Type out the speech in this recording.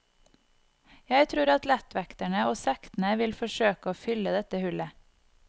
Jeg tror at lettvekterne og sektene vil forsøke å fylle dette hullet.